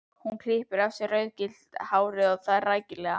Hún klippir af sér rauðgyllta hárið og það rækilega.